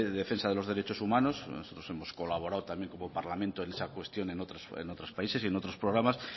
de defensa de los derechos humanos nosotros hemos colaborado también como parlamento en esa cuestión en otros países y en otros programas